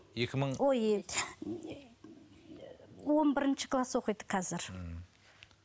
екі мың ой он бірінші класс оқиды қазір